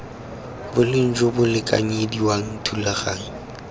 boleng jo bo lekanyediwang thulaganyo